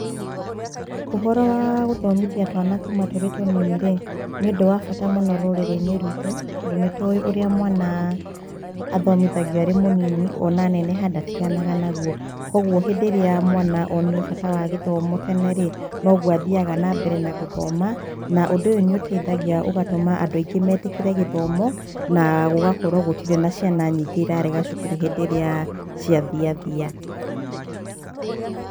Ũhoro wa gũthomithia twana kuuma tũrĩ tũnini-rĩ nĩ ũndũ wa bata rũrĩrĩ-inĩ ruitũ tondũ nĩ tũĩ ũrĩa mwana athomĩthagio arĩ mũnini ona aneneha ndatiganaga naguo. Kwoguo hĩndĩ ĩrĩa mwana onio bata wa gĩthomo tene-rĩ, noguo athiaga na mbere na gũthoma na ũndũ ũyũ nĩ ũteithagia ũgatũma andũ aingĩ metĩkĩre gĩthomo na gũgakorwo gũtirĩ na ciana nyingĩ cirarega thukuru hĩndĩ ĩrĩa ciathi thia.